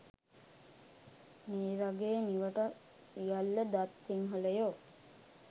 මේ වගේ නිවට සියල්ල දත් සිංහලයෝ